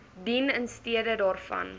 dien instede daarvan